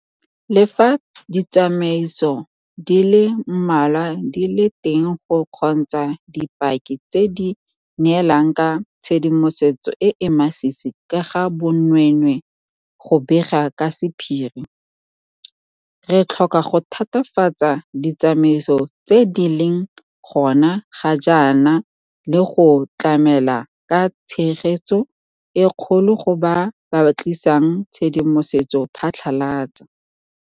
Le fa ditsamaiso di le mmalwa di le teng go kgontsha dipaki tse di neelang ka tshedimosetso e e masisi ka ga bonweenwee go bega ka sephiri, re tlhoka go thatafatsa ditsamaiso tse di leng gona ga jaana le go tlamela ka tshegetso e kgolo go bao ba tlisang tshedimosetso phatlhalatsa.